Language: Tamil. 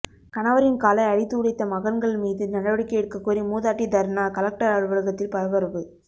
கணவரின் காலை அடித்து உடைத்த மகன்கள் மீது நடவடிக்கை எடுக்க கோரி மூதாட்டி தர்ணா கலெக்டர் அலுவலகத்தில் பரபரப்பு